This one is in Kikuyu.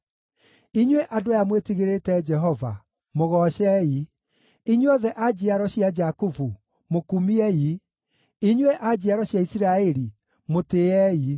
Inyuĩ andũ aya mwĩtigĩrĩte Jehova, mũgoocei! Inyuothe a njiaro cia Jakubu, mũkumiei, inyuĩ a njiaro cia Isiraeli, mũtĩĩei.